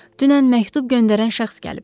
Dünən məktub göndərən şəxs gəlib.